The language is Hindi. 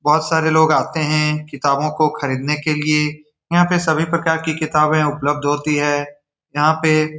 बहुत सारे लोग आते हैं किताबों को खरीदने के लिए यहां पर सभी प्रकार की किताबें उपलब्ध होती है यहां पे --